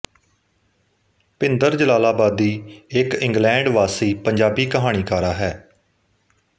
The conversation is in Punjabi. ਭਿੰਦਰ ਜਲਾਲਾਬਾਦੀ ਇੱਕ ਇੰਗਲੈਂਡ ਵਾਸੀ ਪੰਜਾਬੀ ਕਹਾਣੀਕਾਰਾ ਹੈ